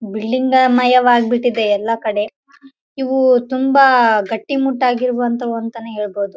Building ಮಯಾ ವಾಗ್ಬಿಟ್ಟಿದೆ ಎಲ್ಲ ಕಡೆ ಇವು ತುಂಬಾ ಗಟ್ಟಿ ಮುಟ್ಟಾಗಿ ಇರುವಂತವು ಅಂತ ಹೇಳ್ಬಹುದು.